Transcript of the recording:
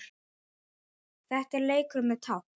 Þetta er leikur með tákn